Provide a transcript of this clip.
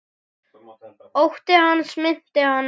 Ótti hans minnti hana á